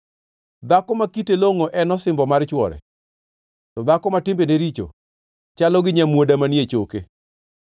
Dhako ma kite longʼo en osimbo mar chwore, to dhako ma timbene richo chalo gi nyamuoda manie choke.